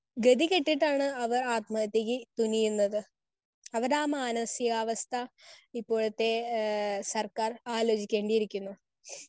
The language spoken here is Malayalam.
സ്പീക്കർ 1 ഗതികെട്ടിട്ടാണ് അവർ ആത്മഹത്യയ്ക്ക് തുനിയുന്നത്. അവരുടെ ആ മാനസികാവസ്ഥ ഇപ്പോഴത്തെ ആഹ് സർക്കാർ ആലോചിക്കേണ്ടിയിരിക്കുന്നു.